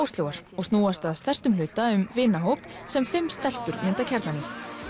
Oslóar og snúast að stærstum hluta um vinahóp sem fimm stelpur mynda kjarnann í